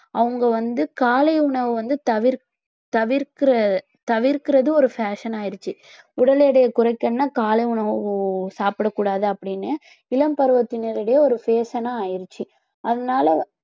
அவங்க வந்து காலை உணவை வந்து தவிர்~ தவிர்க்கிற~ தவிர்க்கிறது ஒரு fashion ஆயிடுச்சு உடல் எடையை குறைக்கணுன்னா காலை உணவு சாப்பிடக் கூடாது அப்பிடின்னு இளம் பருவத்தினரிடையே ஒரு fashion ன்னா ஆயிருச்சு அதனாலே